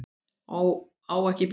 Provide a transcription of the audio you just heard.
Á ekki bíl.